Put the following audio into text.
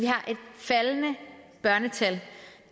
faldende børnetal